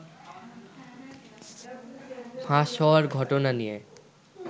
ফাঁস হওয়ার ঘটনা নিয়ে